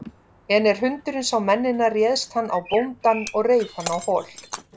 En er hundurinn sá mennina réðst hann á bóndann og reif hann á hol.